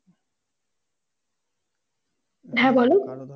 হ্যাঁ বলো